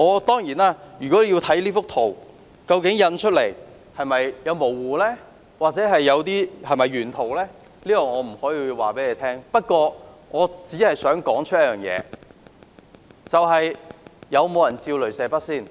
當然，單看這幅圖，印出來後會否有點模糊，或究竟這是否原圖，我答不上，但我只想提出一點，究竟有沒有人拿雷射筆照射？